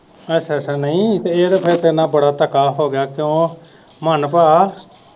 ਅੱਛਾ ਅੱਛਾ ਨਹੀਂ ਇਹ ਤੇ ਫਿਰ ਤੇਰੇ ਨਾ ਬੜਾ ਧੱਕਾ ਹੋਗਿਆ ਕਿਉ ਮਾਨ ਭਾ